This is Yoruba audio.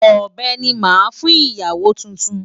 Ọ̀bẹ ni màá fún ìyàwó tuntun.